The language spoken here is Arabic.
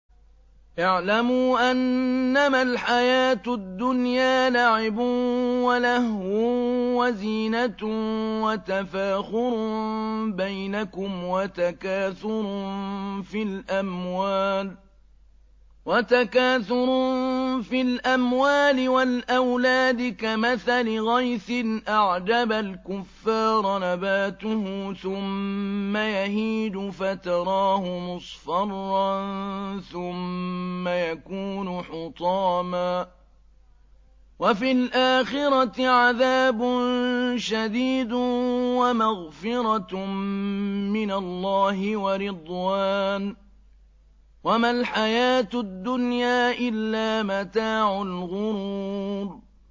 اعْلَمُوا أَنَّمَا الْحَيَاةُ الدُّنْيَا لَعِبٌ وَلَهْوٌ وَزِينَةٌ وَتَفَاخُرٌ بَيْنَكُمْ وَتَكَاثُرٌ فِي الْأَمْوَالِ وَالْأَوْلَادِ ۖ كَمَثَلِ غَيْثٍ أَعْجَبَ الْكُفَّارَ نَبَاتُهُ ثُمَّ يَهِيجُ فَتَرَاهُ مُصْفَرًّا ثُمَّ يَكُونُ حُطَامًا ۖ وَفِي الْآخِرَةِ عَذَابٌ شَدِيدٌ وَمَغْفِرَةٌ مِّنَ اللَّهِ وَرِضْوَانٌ ۚ وَمَا الْحَيَاةُ الدُّنْيَا إِلَّا مَتَاعُ الْغُرُورِ